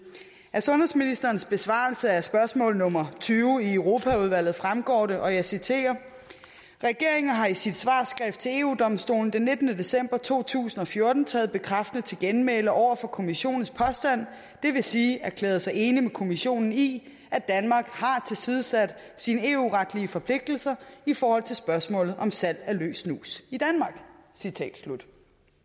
af sundhedsministerens besvarelse af spørgsmål nummer tyve i europaudvalget fremgår det og jeg citerer regeringen har i sit svarskrift til eu domstolen den nittende december to tusind og fjorten taget bekræftende til genmæle over for kommissionens påstand det vil sige erklæret sig enig med kommissionen i at danmark har tilsidesat sine eu retlige forpligtelser i forhold til spørgsmålet om salg af løs snus i danmark citat slut